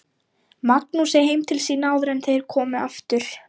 Hér virðist berggerðin hafa mest að segja.